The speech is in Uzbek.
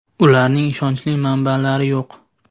Ularning ishonchli manbalari yo‘q.